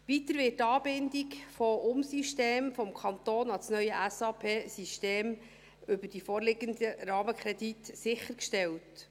Weiter wird die Anbindung von Umsystemen des Kantons an das neue SAP-System über die vorliegenden Rahmenkredite sichergestellt.